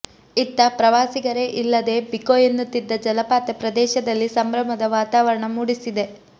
ಇತ್ತ ಪ್ರವಾಸಿಗರೇ ಇಲ್ಲದೇ ಬಿಕೋ ಎನ್ನುತ್ತಿದ್ದ ಜಲಪಾತ ಪ್ರದೇಶದಲ್ಲಿ ಸಂಭ್ರಮದ ವಾತಾವರಣ ಮೂಡಿಸಿದೆ